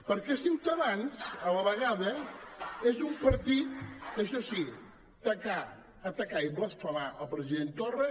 perquè ciutadans a la vegada és un partit que això sí tacar atacar i blasfemar el president torra